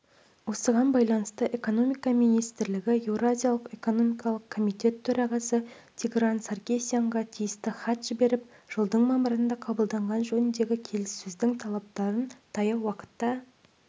осыған байланысты экономика министрлігі еуразиялық экономикалық комитет төрағасы тигран саркисянға тиісті хат жіберіп жылдың мамырында қабылданған жөніндегі келіссөздің талаптарын таяу уақытта